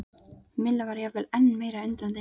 Milla var jafnvel enn meira undrandi.